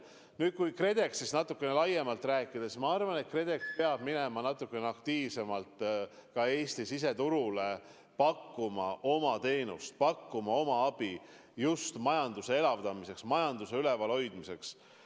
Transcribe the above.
Nüüd, kui KredExist natuke laiemalt rääkida, siis ma arvan, et KredEx peab minema natukene aktiivsemalt ka Eesti siseturule, pakkuma oma teenust, pakkuma oma abi just majanduse elavdamiseks, majanduse ülalhoidmiseks.